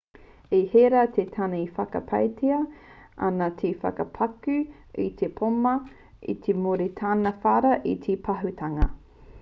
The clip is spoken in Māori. i herea te tāne e whakapaetia ana te whakapakū i te pōma i muri i tāna whara i te pahūtanga